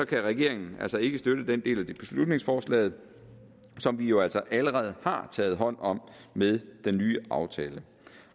kan regeringen altså ikke støtte den del af beslutningsforslaget som vi jo altså allerede har taget hånd om med den nye aftale